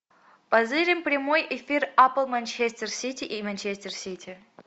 позырим прямой эфир апл манчестер сити и манчестер сити